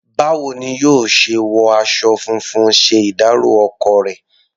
Báwo ni yóò ṣe wọ aṣọ funfun ṣe ìdárọ̀ ọkọ rẹ̀?